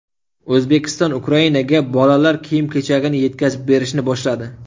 O‘zbekiston Ukrainaga bolalar kiyim-kechagini yetkazib berishni boshladi.